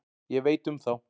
Ég veit um þá.